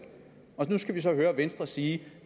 og nu skal vi så høre venstre sige